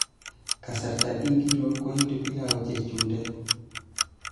Kasarta ingiro koitu pilau chechundet?